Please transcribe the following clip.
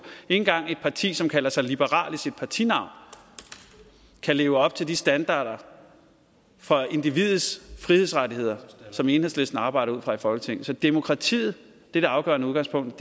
engang et parti som kalder sig liberalt i sit partinavn kan leve op til de standarder for individets frihedsrettigheder som enhedslisten arbejder ud fra i folketinget så demokratiet er det afgørende udgangspunkt